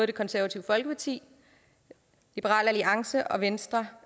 det konservative folkeparti liberal alliance og venstre